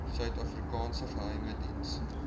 suidafrikaanse geheime diens